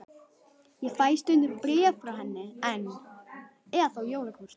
Ég fæ stundum bréf frá henni enn, eða þá jólakort.